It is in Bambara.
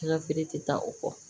An ka feere tɛ taa o kɔ